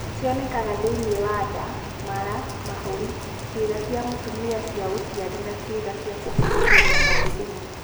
Cionekaga thĩinĩ wa nda, mara, mahũri, ciĩga cia mũtumia cia ũciari na ciĩga cia kũhĩtũkĩria mathugumo.